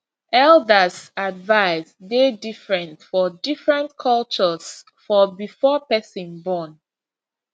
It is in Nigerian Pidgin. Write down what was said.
elders advice dey different for different cultures for before person born